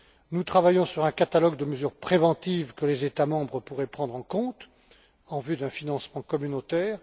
Nous travaillons sur un catalogue de mesures préventives, que les États membres pourraient prendre en compte en vue d'un financement communautaire.